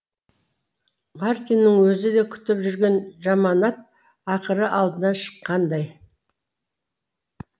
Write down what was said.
мартиннің өзі де күтіп жүрген жаманат ақыры алдынан шыққандай